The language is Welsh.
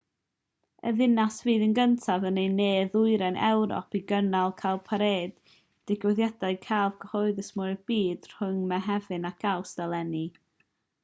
y ddinas fydd y gyntaf yn ne-ddwyrain ewrop i gynnal cowparade digwyddiad celf cyhoeddus mwya'r byd rhwng mehefin ac awst eleni